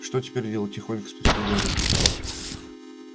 что теперь делать тихонько спросил гарри